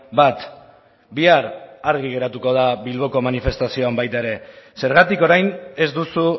bat bihar argi geratuko da bilboko manifestazioan baita ere zergatik orain ez duzu